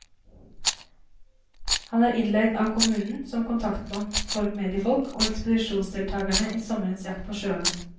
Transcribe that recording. Han er innleiet av kommunen som kontaktmann for mediefolk og ekspedisjonsdeltagerne i sommerens jakt på sjøormen.